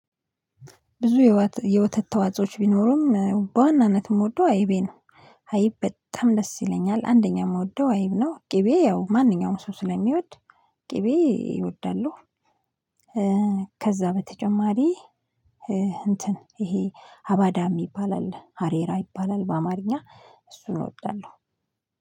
ብዙ የወተት ተዋጾች ቢኖሩም በዋናነትም እምወደው አይቤ ነው። አይብ በጣም ደስ ይለኛል አንደኛ የምወደው አይብ ነው ቅቤ ያው ማንኛውም ሰው ስለሚወድ ቅቤ እወዳለሁ። ከዛ በተጨማሪ። እንትን ይሄ አባዳ የሚባል አሬራ ይባላል በአማርኛ እሱን እወዳለሁ